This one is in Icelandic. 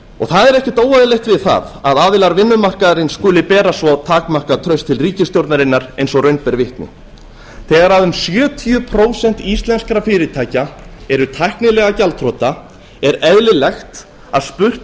það er ekkert óeðlilegt við það að aðilar vinnumarkaðarins skuli bera svo takmarkað traust til ríkisstjórnarinnar og raun ber vitni þegar um sjötíu prósent íslenskra fyrirtækja eru tæknilega gjaldþrota er eðlilegt að spurt